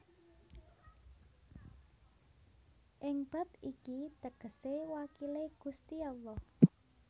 Ing bab iki tegese wakile Gusti Allah